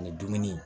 Ani dumuni